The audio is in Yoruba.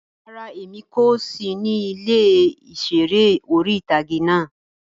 Rárá, Emi ko si ni ile iṣere ori-itage náa